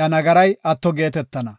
iya nagaray atto geetetana.